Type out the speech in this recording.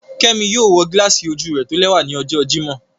Kẹmí yóò wọ gíláàsì ojú rẹ̀ tólẹwa ní ọ̀jọ́ Jímọ̀